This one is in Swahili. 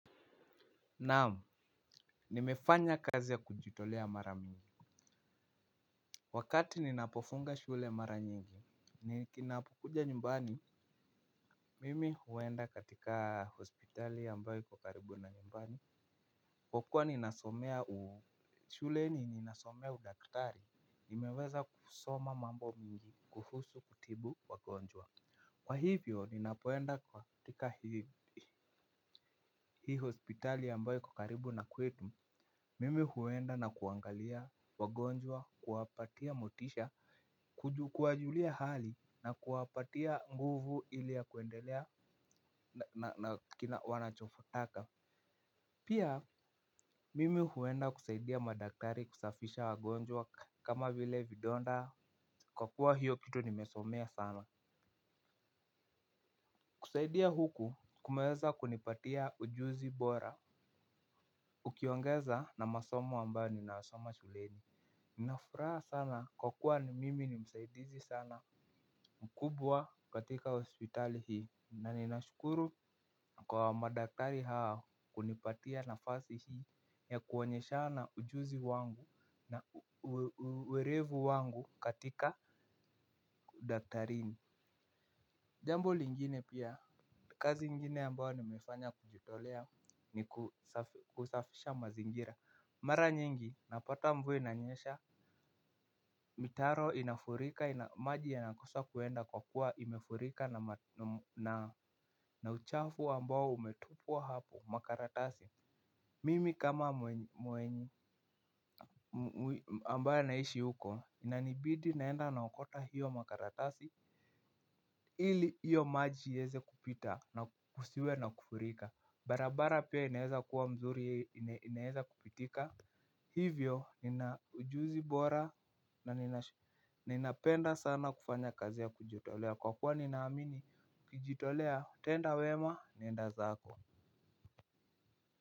Naam, nimefanya kazi ya kujitolea mara mingi. Wakati ninapofunga shule mara nyingi, ninapokuja nyumbani, mimi huenda katika hospitali ambayo iko karibu na nyumbani. Kwa kuwa ninasomea shule ninasomea udaktari, nimeweza kusoma mambo mingi kuhusu kutibu wagonjwa. Kwa hivyo, ninapenda kuwa katika hii hospitali ambayo iko karibu na kwetu, mimi huenda na kuangalia wagonjwa, kuwapatia motisha, kuwajulia hali na kuwapatia nguvu ili ya kuendelea na kina wanachokitaka. Pia, mimi huenda kusaidia madaktari kusafisha wagonjwa kama vile vidonda kwa kuwa hiyo kitu nimesomea sana. Kusaidia huku kumeweza kunipatia ujuzi bora. Ukiongeza na masomo ambayo nina soma shuleni. Ninafuraha sana kwa kuwa ni mimi ni msaidizi sana mkubwa katika hospitali hii. Nanina shukuru kwa madaktari hao kunipatia nafasi hii ya kuonyeshana ujuzi wangu na uwerevu wangu katika udaktarini. Jambo lingine pia kazi ingine ambayo nimefanya kujitolea nikusafisha mazingira. Mara nyingi napata mvua inanyesha. Mitaro inafurika maji yanakosa kuenda kwa kuwa imefurika na uchafu ambao umetupwa hapo makaratasi. Mimi kama mwenye ambayo naishi huko inanibidi naenda naokota hiyo makaratasi. Hili hiyo maji iweze kupita na kusiwe na kufurika. Barabara pia inaeza kuwa mzuri inaeza kupitika. Hivyo nina ujuzi bora na ninapenda sana kufanya kazi ya kujitolea. Kwa kuwa ninaamini ukijitolea tenda wema nenda zako.